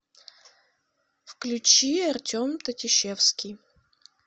включи артем татищевский